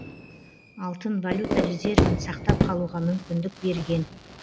алтын валюта резервін сақтап қалуға мүмкіндік берген